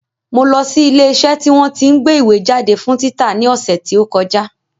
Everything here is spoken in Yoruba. Mo lọ sí ilé iṣẹ́ tí wọ́n tí ń gbé ìwé jáde fún títa ní ọ̀sẹ̀ tí ó kọjá